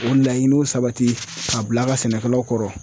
O laɲiniw sabati k'a bila a ka sɛnɛkɛlaw kɔrɔ.